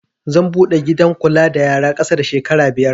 Zan buɗe gidan kula da yara ƙasa da shekara biyar